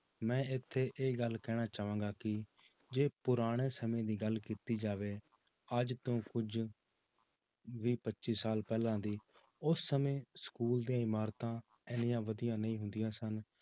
ਮੈਂ ਇੱਥੇ ਇਹ ਗੱਲ ਕਹਿਣਾ ਚਾਹਾਂਗਾ ਕਿ ਜੇ ਪੁਰਾਣੇ ਸਮੇਂ ਦੀ ਗੱਲ ਕੀਤੀ ਜਾਵੇ ਅੱਜ ਤੋਂ ਕੁੱਝ ਵੀਹ ਪੱਚੀ ਸਾਲ ਪਹਿਲਾਂ ਦੀ ਉਸ ਸਮੇਂ school ਦੀਆਂ ਇਮਾਰਤਾਂ ਇੰਨੀਆਂ ਵਧੀਆ ਨਹੀਂ ਹੁੰਦੀਆਂ ਸਨ